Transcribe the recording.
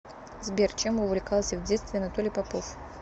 сбер чем увлекался в детстве анатолий попов